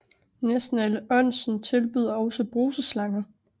Næsten alle onsen tilbyder også bruseslanger